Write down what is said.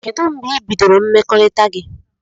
Kedu mgbe ibidoro mmekọrita gi?